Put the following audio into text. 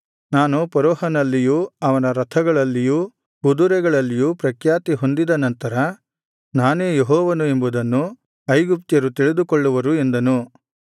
ನಾನು ಫರೋಹನನಲ್ಲಿಯೂ ಅವನ ರಥಗಳಲ್ಲಿಯೂ ಕುದುರೆಗಳಲ್ಲಿಯೂ ಪ್ರಖ್ಯಾತಿ ಹೊಂದಿದ ನಂತರ ನಾನೇ ಯೆಹೋವನು ಎಂಬುದನ್ನು ಐಗುಪ್ತ್ಯರು ತಿಳಿದುಕೊಳ್ಳುವರು ಎಂದನು